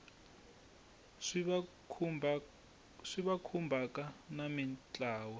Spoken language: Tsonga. swi va khumbhaka na mintlawa